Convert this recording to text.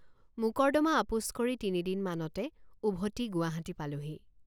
মোকৰ্দমা আপোচ কৰি তিনদিনমানতে উভতি গুৱাহাটী পালোঁহি।